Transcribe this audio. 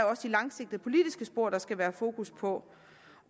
også de langsigtede politiske spor der skal være fokus på